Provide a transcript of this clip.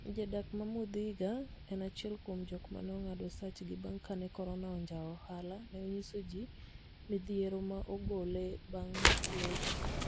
Jadak ma Muthiga, en achiel kuom jok mane ongad osachgi bang kane korona onjawo ohala ne onyiso nji midhiero ma ogole bang locho